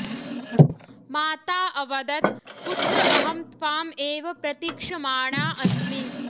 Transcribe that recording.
माता अवदत् पुत्र अहं त्वाम् एव प्रतिक्षमाणा अस्मि